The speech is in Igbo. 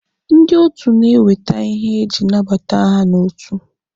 Ndị otu na-ewete ihe eji anabata ha n'otu.